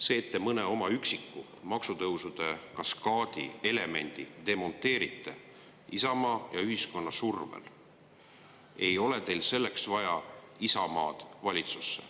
Selleks, et te mõne üksiku elemendi oma maksutõusude kaskaadist Isamaa ja ühiskonna survel demonteerite, ei ole teil vaja Isamaad valitsusse.